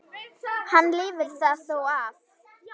Hann lifir það þó af.